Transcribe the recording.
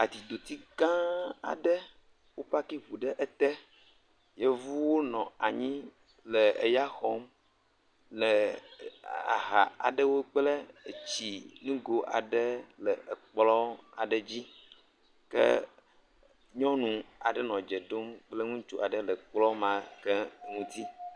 Atitoti gã aɖe eye wo parki eɔu ɖe eté, yevuwo nɔ anyi le eya xɔm le aha aɖewo kple nugo aɖe le ekplɔ aɖe dzi, ke nyɔnu aɖe nɔ edze ɖom kple ŋutsu aɖe le ekplɔ ma ke ŋuti